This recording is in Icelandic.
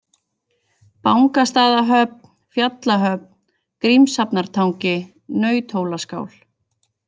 Bangastaðahöfn, Fjallahöfn, Grímshafnartangi, Nauthólaskál